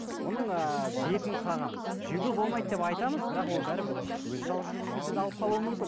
оның ыыы бетін қағамыз жеуге болмайды деп айтамыз бірақ ол бәрібір өзі жалғыз жүрген кезде де алып қалуы мүмкін